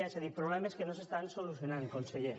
és a dir problemes que no es solucionen conseller